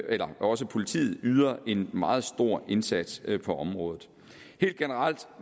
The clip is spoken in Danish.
også politiet yder en meget stor indsats på området helt generelt